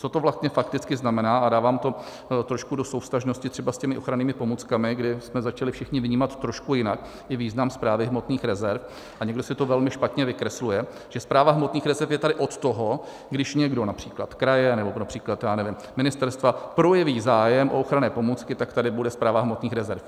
Co to vlastně fakticky znamená, a dávám to trošku do souvztažnosti třeba s těmi ochrannými pomůckami, kdy jsme začali všichni vnímat trošku jinak i význam Správy hmotných rezerv, a někdo si to velmi špatně vykresluje, že Správa hmotných rezerv je tady od toho, když někdo, například kraje nebo například, já nevím, ministerstva projeví zájem o ochranné pomůcky, tak tady bude Správa hmotných rezerv.